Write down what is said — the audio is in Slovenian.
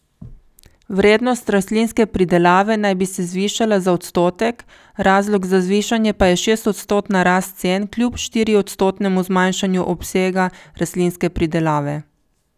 Vrednost rastlinske pridelave naj bi se zvišala za odstotek, razlog za zvišanje pa je šestodstotna rast cen kljub štiriodstotnemu zmanjšanju obsega rastlinske pridelave.